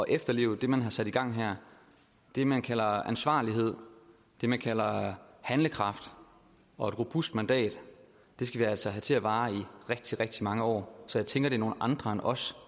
efterleve det man har sat i gang her det man kalder ansvarlighed det man kalder handlekraft og et robust mandat skal vi altså have til at vare i rigtig rigtig mange år så jeg tænker er nogle andre end os